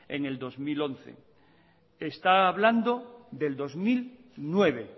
en el dos mil once está hablando del dos mil nueve